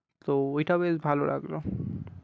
তো ওইটা বেশ ভাল লাগলো